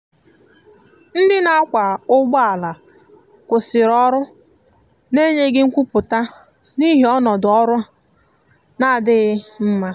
ndi na akwa ụgbọ ala kwụsiri ọrụ na enyeghi nkwụputa n'ihi ọnọdọ ọrụ na-adighi mma.